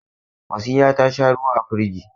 Wasila ta sha ruwa a firigi.